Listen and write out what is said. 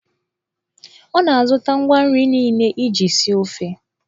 Ọ na-azụta ngwa nri niile iji sie ofe.